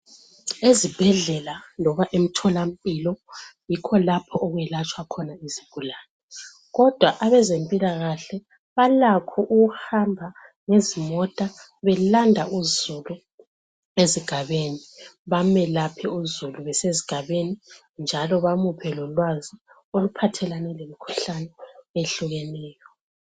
Ezibhedlela loba emtholampilo, yikho lapho okwelatshwa khona izigulane, kodwa abezempilakahle balakho ukuhamba ngezimota belanda uzulu ezigabeni, bamelaphe uzulu besezigabeni njalo bamuphe lolwazi oluphathelane lomkhuhlane ehlukeneyo.